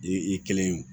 I kelen